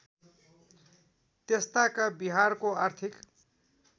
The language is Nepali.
त्यसताका बिहारको आर्थिक